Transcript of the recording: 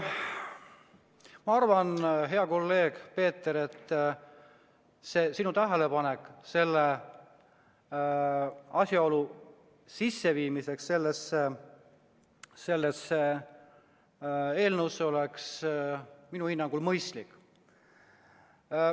Ma arvan, hea kolleeg Peeter, et sinu tähelepanek selle asjaolu sisseviimiseks sellesse eelnõusse on minu hinnangul mõistlik.